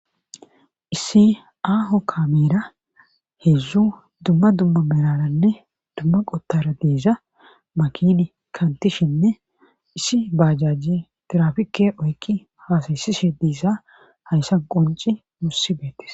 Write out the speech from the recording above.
issi aaho kaamera heedzdzu dumma dumma meraaranne dumma qottaara de7iza makiini kantishinne issi baajaaje tirafikke oykki haasayissishe de7iza haysa qoncce nuussi beettes.